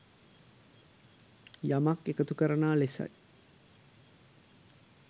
යමක් එකතු කරනා ලෙසයි.